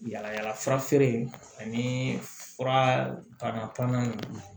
Yala yalafura feere ani fura tanna pannan